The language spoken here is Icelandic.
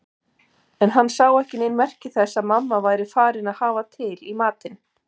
En hann sá ekki nein merki þess að mamma væri farin að hafa til matinn.